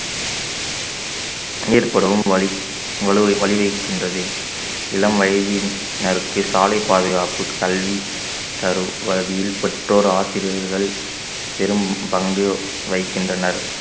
ஏற்படும் வலி~ வலுவை வழி வைக்கின்றது இளம் வயதினற்க்கு சாலை பாதுகாப்பு கல்வி தரும் வகையில் பெற்றோர் ஆசிரியர்கள் பெரும்பங்கு வகிக்கின்றனர்